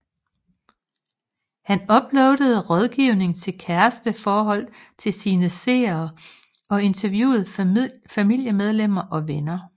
Han uploadede rådgiving til kæresteforhold til sine seere og interviewe familiemedlemmer og venner